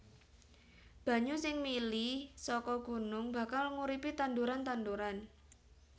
Banyu sing mili saka gunung bakal nguripi tanduran tanduran